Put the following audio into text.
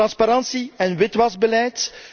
Transparantie en witwasbeleid.